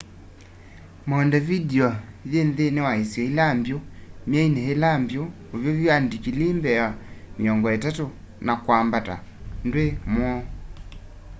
montevideo yi nthini wa isio ila mbyu; myeini ila mbyu uvyuvu wa ndikilii +30°c na kwambata ndwi mwoo